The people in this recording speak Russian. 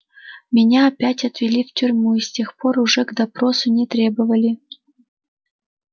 меня опять отвели в тюрьму и с тех пор уже к допросу не требовали